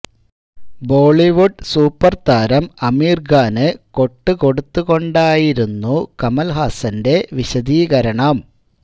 Bollywood super താരം ആമിര് ഖാന് കൊട്ട് കൊടുത്തു കൊണ്ടായിരുന്നു കമല്ഹാസന്റെ വിശദീകരണം